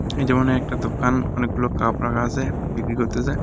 এই যেমন একটা দোকান অনেকগুলো কাপ রাখা আসে বিক্রি করতেসে.